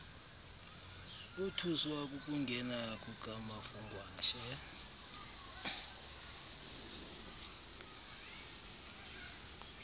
bothuswa kukungena kukamafungwashe